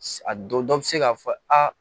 A dɔ dɔ bɛ se k'a fɔ aa